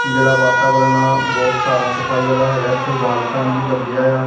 ਜਿਹੜਾ ਵਾਤਾਵਰਨ ਆ ਬਹੁਤ ਸਾਫ ਸਫਾਈ ਵਾਲਾ ਹੈਗਾ ਇਥੇ ਵਾਲ ਫੈਨ ਵੀ ਲੱਗਿਆ ਆ।